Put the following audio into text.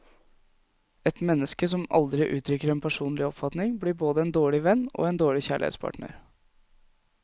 Et menneske som aldri uttrykker en personlig oppfatning, blir både en dårlig venn og en dårlig kjærlighetspartner.